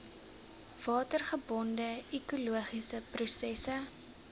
watergebonde ekologiese prosesse